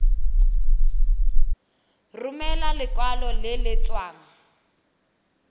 romela lekwalo le le tswang